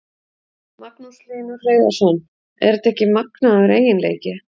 Magnús Hlynur Hreiðarsson: Er þetta ekki magnaður eiginleiki?